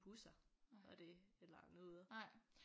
Busser og det og noget